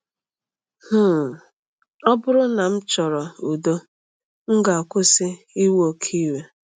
um Ọ bụrụ na m chọrọ udo, m ga-akwụsị iwe oke iwe.